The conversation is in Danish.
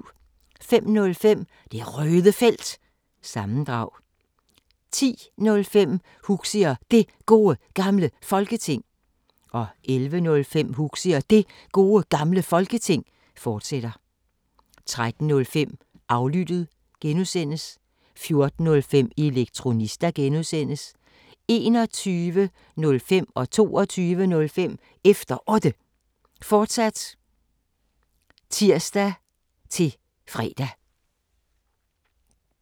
05:05: Det Røde Felt – sammendrag 10:05: Huxi og Det Gode Gamle Folketing 11:05: Huxi og Det Gode Gamle Folketing, fortsat 13:05: Aflyttet (G) 14:05: Elektronista (G) 21:05: Efter Otte, fortsat (tir-fre) 22:05: Efter Otte, fortsat (tir-ons og fre)